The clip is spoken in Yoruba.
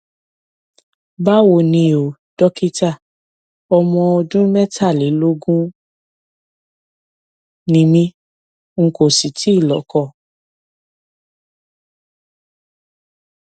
báwo ni o dókítà ọmọ ọdún mẹtàlélógún ni mí n kò sì tíì lọkọ